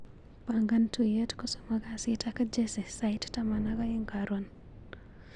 Pangan tuiyet kosomok kasit ak Jesse sait taman ak aeng' karon.